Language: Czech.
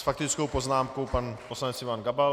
S faktickou poznámkou pan poslanec Ivan Gabal.